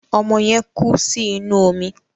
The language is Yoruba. Ọmọ yẹn kú sí inú omi.